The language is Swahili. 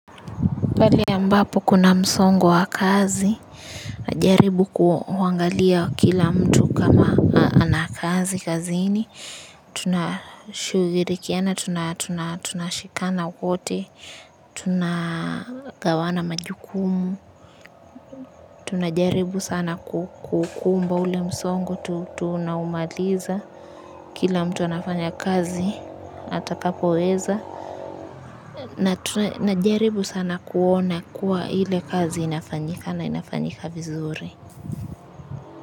Pale ambapo kuna msongo wa kazi, na jaribu kuangalia kila mtu kama ana kazi, kazini. Tuna shhughulikiana, tunashikana wote, tunagawana majukumu, tunajaribu sana kukumba ule msongo, tunaumaliza, kila mtu anafanya kazi, atakapoweza. Na jaribu sana kuona kuwa ile kazi inafanyika na inafanyika vizuri.